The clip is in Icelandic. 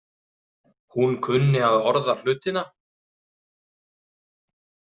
Hún kunni að orða hlutina.